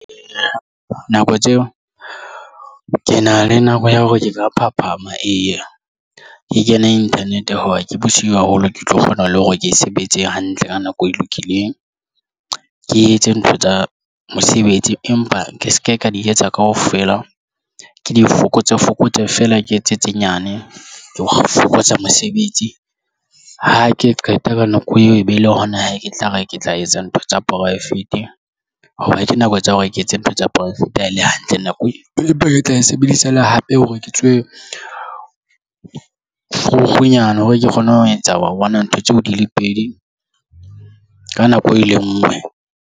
Nako tseo ke na le nako ya hore ke ka phaphama e ke kena internet ya hoba ke bosiu haholo ke tlo kgona le hore ke sebetse hantle ka nako e lokileng. Ke etse ntho tsa mosebetsi, empa ke se ke ka di etsa kaofela ke di fokotse o fokotse feela ke etse tse nyane ke ho fokotsa mosebetsi. Ha ke qeta ka nako eo e be le hona ke tla re ke tla etsa ntho tsa poraefete ha ke nako tsa hore ke etse ntho tsa poraefete ha ele hantle nako pele e tla e sebedisa le hape hore ke tswe vrugunya hore ke kgone ho etsa ntho tseo di le pedi ka nako e le ngwe.